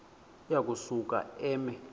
uya kusuka eme